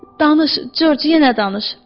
Danış, Corc, yenə danış.